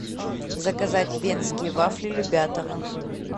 заказать венские вафли любятово